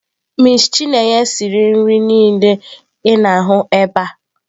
Miss chineye siri nri niile ị na-ahụ ebe a.